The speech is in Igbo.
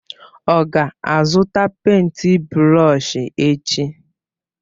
Ọ ga-azụta pèịnt brọsh echi?